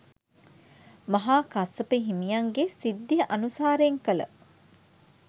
මහා කස්සප හිමියන්ගේ සිද්ධිය අනුසාරයෙන් කළ